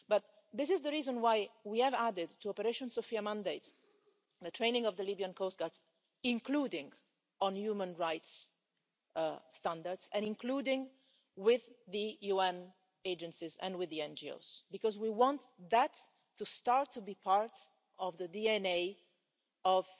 But this is the reason why we have added to the mandate of Operation Sophia the training of the Libyan coast guards, including on human rights standards and including with the UN agencies and with the NGOs, because we want that to start to be part of the DNA